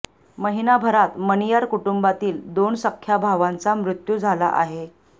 महिनाभरात मणियार कुटुंबातील दोन सख्या भावांचा मृत्यू झाला आहे